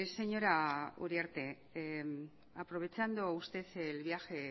señora uriarte aprovechando usted el viaje